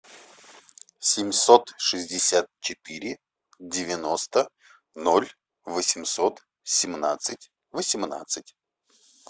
семьсот шестьдесят четыре девяносто ноль восемьсот семнадцать восемнадцать